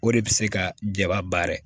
O de bɛ se ka jaba baara